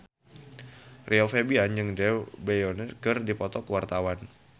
Rio Febrian jeung Drew Barrymore keur dipoto ku wartawan